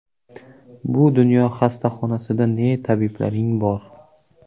Bu dunyo xastaxonasida ne tabiblaring bor!.